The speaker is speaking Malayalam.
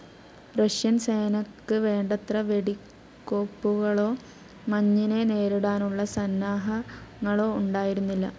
റഷ്യൻ സേനക്ക് വേണ്ടത്ര വെടിക്കോപ്പുകളോ മഞ്ഞിനെ നേരിടാനുള്ള സന്നാഹങ്ങളോ ഉണ്ടായിരുന്നില്ല.